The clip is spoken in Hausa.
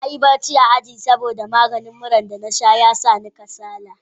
Na yi barci a aji, saboda maganin muran da na sha ya sa ni kasala.